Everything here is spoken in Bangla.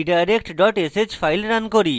redirect dot sh file run করি